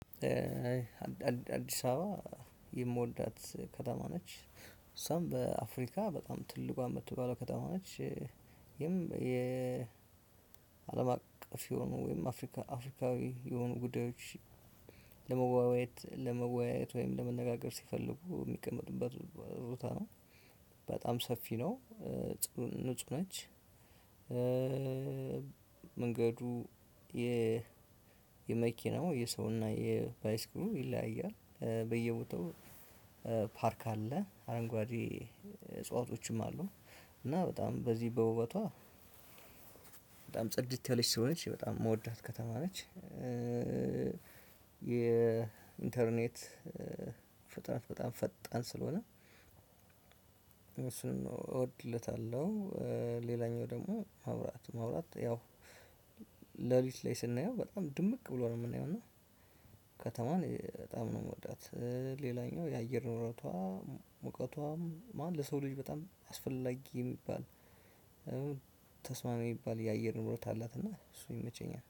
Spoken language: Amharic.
አዲስ አበባ የምወዳት ከተማ ነች። እሷም በአፍሪካ በጣም ትልቋን ምትባለው ከተማ እች። የአለም አቀፍ የሆኑ ወይም አፍሪካ አፍሪካዊ የሆኑ ጉዳዮች። ለመወያየት ለመወያየት ወይም ለመነጋገር ሲፈልጉ የሚቀመጡበት ቦታ ነው። በጣም ሰፊ ነው። ንጹህ ነች። መንገዱ የ መኪና የሰው እና የባይስክሉ ይለያያልበየቦታው። ፓርክ አለ አረንጓዴ እጽዋቶችም አሉ። እና በጣም በዚህ በውበቷ በጣም ጽድት ያለች ስለሆነች በጣም የምወዳት ከተማ ነች። የኢንተርኔት ፈጣን በጣም ፈጣን ስለሆነ። እሱንም እወድለታለሁ። ሌላኛው ደግሞ ማውራት ማውራት ያው ሌሊት ላይ ስናየው በጣም ድምቅ ብሎ ነው የምናየው። እና ከተማዎን በጣም ነው ምወዳት። ሌላኛው የአየር ሁኔታዎ ሙቀቷም ማን ለሰው ልጅ በጣም አስፈላጊ የሚባል ተስማሚ የሚባል የአየር ንብረት አላት። እና እሱ ይመቸኛል።